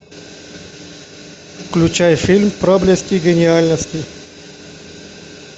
включай фильм проблеск гениальности